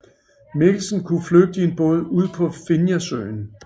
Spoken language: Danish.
Mikkelsen kunne flygte i en båd ud på Finjasøen